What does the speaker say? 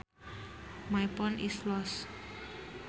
My phone is lost